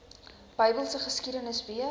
bybelse geskiedenis weet